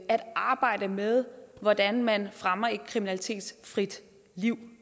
at arbejde med hvordan man fremmer et kriminalitetsfrit liv